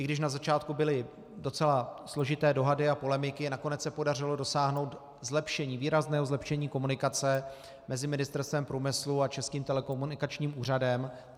I když na začátku byly docela složité dohody a polemiky, nakonec se podařilo dosáhnout výrazného zlepšení komunikace mezi Ministerstvem průmyslu a Českým telekomunikačním úřadem.